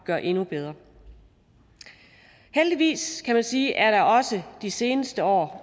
gøre endnu bedre heldigvis kan man sige er der også de seneste år